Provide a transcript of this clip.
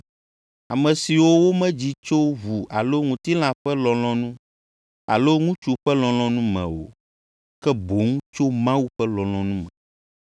ame siwo womedzi tso ʋu alo ŋutilã ƒe lɔlɔ̃nu alo ŋutsu ƒe lɔlɔ̃nu me o, ke boŋ tso Mawu ƒe lɔlɔ̃nu me.